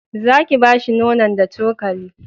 za ki bashi nonon da cokali